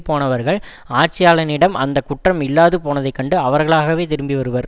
போனவர்கள் ஆட்சியாளனிடம் அந்த குற்றம் இல்லாது போனதைக் கண்டு அவர்களாகவே திரும்பி வருவர்